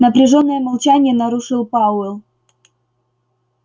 напряжённое молчание нарушил пауэлл